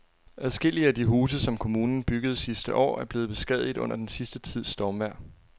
Adskillige af de huse, som kommunen byggede sidste år, er blevet beskadiget under den sidste tids stormvejr.